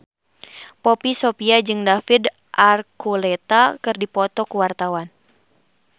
Poppy Sovia jeung David Archuletta keur dipoto ku wartawan